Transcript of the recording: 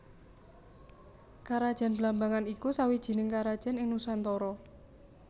Karajan Blambangan iku sawijining karajan ing Nuswantara